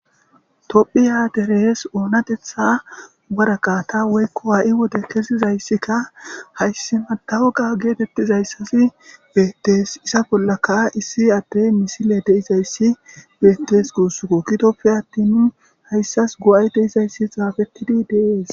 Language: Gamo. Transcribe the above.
Tophiya deres oonatetha waraqa ta woykko aa'i wode kezizayssikka hayssi madawoga geetettizayssasi beettees isa bollaka issi adde misile deizayssi beettes guussukko kitopfe attin nu hayssas go'ay deizayssi xaafettidi deees.